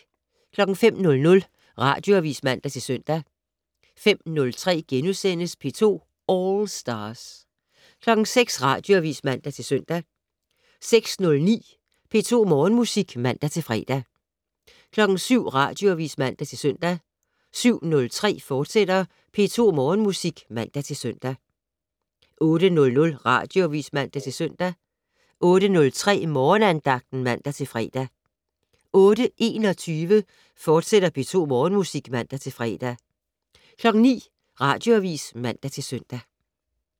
05:00: Radioavis (man-søn) 05:03: P2 All Stars * 06:00: Radioavis (man-søn) 06:09: P2 Morgenmusik (man-fre) 07:00: Radioavis (man-søn) 07:03: P2 Morgenmusik, fortsat (man-søn) 08:00: Radioavis (man-søn) 08:03: Morgenandagten (man-fre) 08:21: P2 Morgenmusik, fortsat (man-fre) 09:00: Radioavis (man-søn)